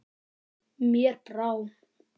Mér brá.